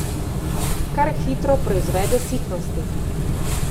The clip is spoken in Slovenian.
Kar hitro proizvede sitnosti.